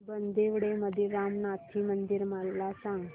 बांदिवडे मधील रामनाथी मंदिर मला सांग